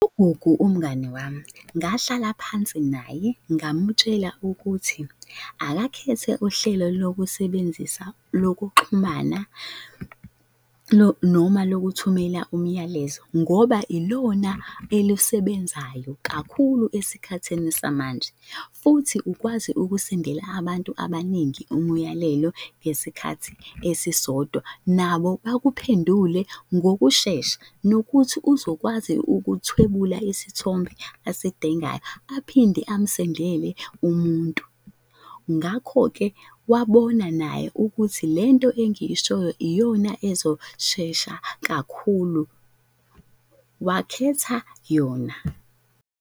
UGugu umngani wami, ngahlala phansi naye, ngamutshela ukuthi akakhethe uhlelo lokusebenzisa, lokuxhumana noma lokuthumelela umyalezo ngoba ilona elisebenzayo kakhulu esikhathini samanje, futhi ukwazi ukusendela abantu abaningi umuyalelo ngesikhathi esisodwa nabo bakuphendule ngokushesha. Nokuthi uzokwazi ukuthwebula isithombe asidingayo aphinde amsendele umuntu. Ngakho-ke wabona naye ukuthi lento engiyishoyo iyona ezoshesha kakhulu. Wakhetha yona.